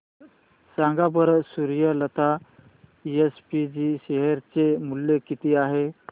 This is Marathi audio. सांगा बरं सूर्यलता एसपीजी शेअर चे मूल्य किती आहे